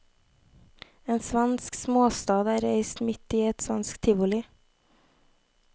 En svensk småstad er reist midt i et svensk tivoli.